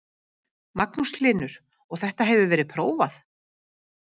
Magnús Hlynur: Og þetta hefur verið prófað?